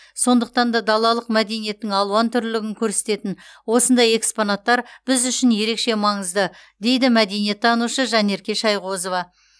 сондықтан да далалық мәдениеттің алуантүрлілігін көрсететін осындай экспонаттар біз үшін ерекше маңызды дейді мәдениеттанушы жанерке шайғозова